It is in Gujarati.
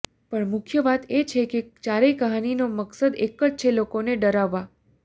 પણ મુખ્ય વાત એ છે કે ચારેય કહાની નો મકસદ એકજ છે લોકો ને ડરાવવા